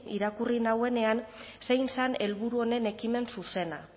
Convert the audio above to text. irakurri nuenean zein zen helburu honen ekimen zuzena